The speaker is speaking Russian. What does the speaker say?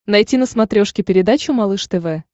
найти на смотрешке передачу малыш тв